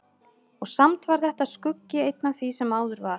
Og samt var þetta skuggi einn af því sem áður var.